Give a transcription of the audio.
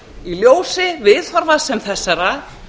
í ljósi viðhorfa sem þessara